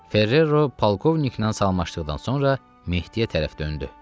Ferrero polkovniklə salamlaşdıqdan sonra Mehdiyə tərəf döndü.